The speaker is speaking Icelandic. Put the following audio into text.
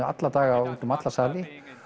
alla daga um alla sali